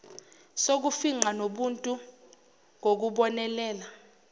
sokufingqa nobuntu ngokubonelela